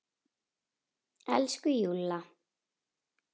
Elsku Júlla!